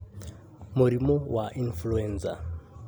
Mũrimũ wa Influenza: